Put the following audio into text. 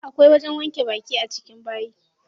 Akwai wajen wanke baki a cikin bayi.